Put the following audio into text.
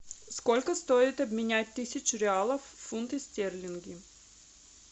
сколько стоит обменять тысячу реалов в фунты стерлинги